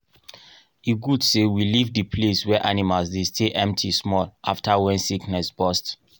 e good say we leave the place wey animals dey stay empty small after wen sickness bust